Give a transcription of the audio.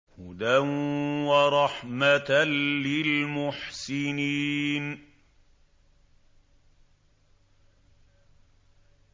هُدًى وَرَحْمَةً لِّلْمُحْسِنِينَ